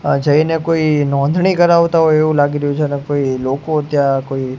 આ જઈને કોઈ નોંધણી કરાવતા હોઈ એવુ લાગી રહ્યુ છે ને કોઈ લોકો ત્યાં કોઈ--